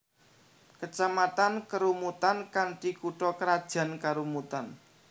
Kecamatan Kerumutan kanthi kutha krajan Kerumutan